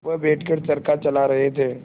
वह बैठ कर चरखा चला रहे थे